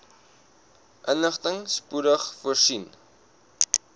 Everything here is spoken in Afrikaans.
inligting spoedig voorsien